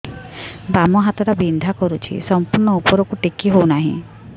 ବାମ ହାତ ଟା ବିନ୍ଧା କରୁଛି ସମ୍ପୂର୍ଣ ଉପରକୁ ଟେକି ହୋଉନାହିଁ